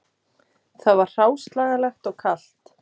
Það var hráslagalegt og kalt